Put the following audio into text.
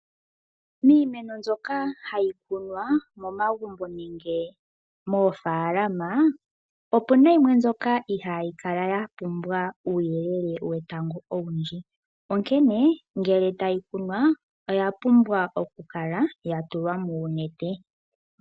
Miimeno mbyoka hayi kunwa momagumbo nenge moofaalama ,opuna yimwe mbyoka ihaayi kala yapumbwa uuyelele wetango owundji ,onkene ngele tayi kunwa oya pumbwa okukala yatulwa muunete.